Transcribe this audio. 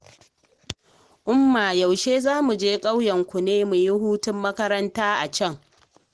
Umma yaushe za mu je ƙauyenku ne muyi hutun makaranta a can?